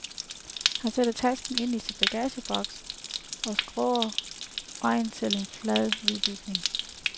Han sætter tasken ind i en bagageboks og skrår over vejen til en flad, hvid bygning.